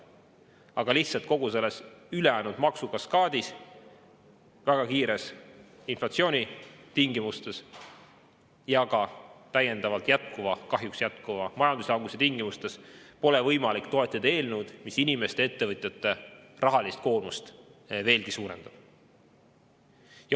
Aga lihtsalt kogu selles ülejäänud maksukaskaadis, väga kiire inflatsiooni tingimustes ja ka täiendavalt kahjuks jätkuva majanduslanguse tingimustes pole võimalik toetada eelnõu, mis inimeste ja ettevõtjate rahalist koormust veelgi suurendab.